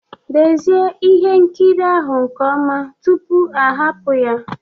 Dezie ihe nkiri ahụ nke ọma tupu ahapụ ya